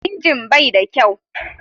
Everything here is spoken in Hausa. Injin bai da kyau.